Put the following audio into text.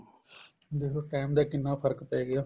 ਦੇਖਲੋ time ਦਾ ਕਿੰਨਾ ਫਰਕ ਪੈ ਗਿਆ